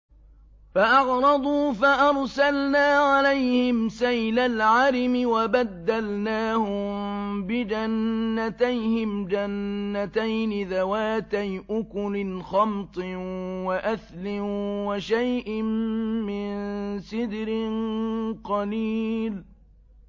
فَأَعْرَضُوا فَأَرْسَلْنَا عَلَيْهِمْ سَيْلَ الْعَرِمِ وَبَدَّلْنَاهُم بِجَنَّتَيْهِمْ جَنَّتَيْنِ ذَوَاتَيْ أُكُلٍ خَمْطٍ وَأَثْلٍ وَشَيْءٍ مِّن سِدْرٍ قَلِيلٍ